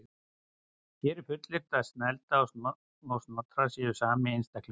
Hér er fullyrt að Snælda og Snotra séu sami einstaklingurinn.